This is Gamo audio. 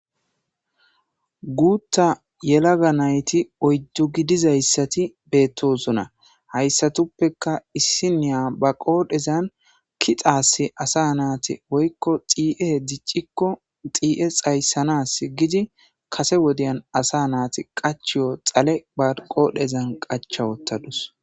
Guutta yelaga nayti oyddu gidizayssati beettosuna hayssatuppeka issiniya ba qoodhezan ki xaasi asa naati woykko xie diccikko xi7e xayssanas gidi kase wodiyan asa naati qachiyo xale baqoodhezan qacha wottadus